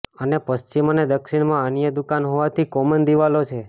અને પશ્ચિમ અને દક્ષિણમાં અન્ય દુકાન હોવાથી કોમન દીવાલો છે